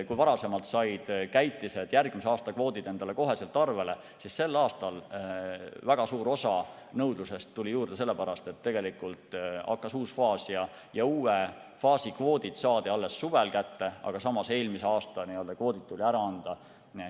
Kui varasemalt said käitised järgmise aasta kvoodid endale kohe arvele, siis sel aastal tuli väga suur osa nõudlusest juurde sellepärast, et hakkas uus faas ja uue faasi kvoodid saadi kätte alles suvel, aga samas tuli eelmise aasta kvoodid kevadel ära anda.